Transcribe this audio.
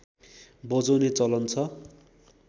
बजाउने चलन छ